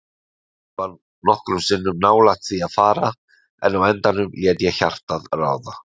Ég var nokkrum sinnum nálægt því að fara, en á endanum lét ég hjartað ráða.